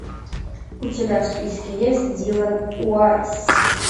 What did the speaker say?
у тебя в списке есть дилан уайсс